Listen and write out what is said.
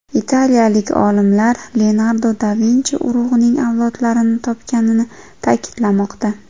Italiyalik olimlar Leonardo da Vinchi urug‘ining avlodlarini topganini ta’kidlamoqda.